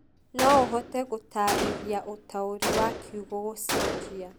no ũhote gũtaarĩria ũtaũri wa kiugo gũcenjia